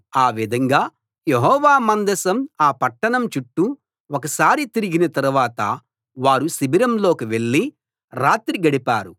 ఆ విధంగా యెహోవా మందసం ఆ పట్టణం చుట్టూ ఒకసారి తిరిగిన తరువాత వారు శిబిరంలోకి వెళ్ళి రాత్రి గడిపారు